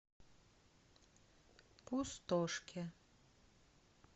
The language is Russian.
пустошке